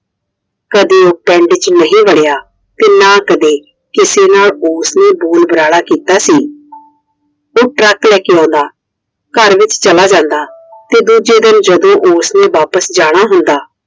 ਕਦੇ ਉਹ ਪਿੰਡ ਚ ਨਹੀਂ ਵੜਿਆ ਤੇ ਨਾ ਕਦੇ ਕਿਸੇ ਨਾਲ ਉਸ ਨੇ ਦੋਨਾਲਾ ਕੀਤਾ ਕੀਤਾ ਸੀ I ਫਿਰ Truck ਲੈ ਕੇ ਆਉਂਦਾ ਘਰ ਵਿੱਚ ਚਲਾ ਜਾਂਦਾ ਤੇ ਦੂਜੇ ਜਦੋ ਉਸਨੇ ਵਾਪਸ ਜਾਣਾ ਹੁੰਦਾ